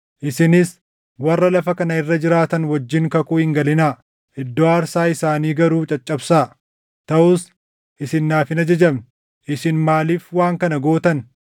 isinis warra lafa kana irra jiraatan wajjin kakuu hin galinaa; iddoo aarsaa isaanii garuu caccabsaa.’ Taʼus isin naaf hin ajajamne. Isin maaliif waan kana gootan?